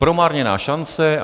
Promarněná šance.